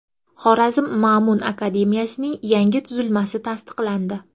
Xorazm Ma’mun akademiyasining yangi tuzilmasi tasdiqlandi.